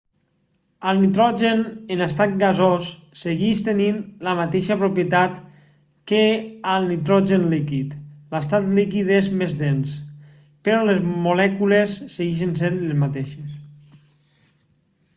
el nitrogen en estat gasós segueix tenint les mateixes propietats que el nitrogen líquid l'estat líquid és més dens però les molècules segueixen sent les mateixes